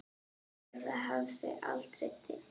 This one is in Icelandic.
Eða hafði aldrei dimmt?